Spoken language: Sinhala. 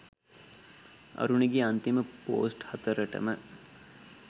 අරුණිගෙ අන්තිම පෝස්ට් හතරටම